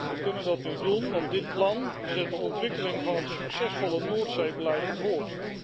We kunnen dat nu doen, want dit plan zet de ontwikkeling van een succesvoller Noordzeebeleid voort.